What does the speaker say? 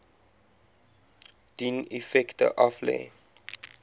dien effekte aflê